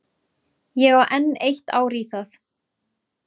Ég á enn eitt ár í það.